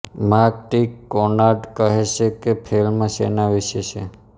mark T Conard કહે છે કે ફિલ્મ શેના વિશે છે